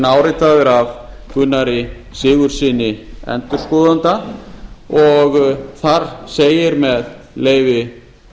áritaður af gunnari sigurðssyni endurskoðanda og þar segir með leyfi